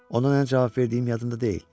Ona nə cavab verdiyim yadımda deyil.